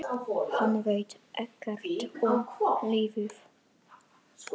Hann veit ekkert um lífið.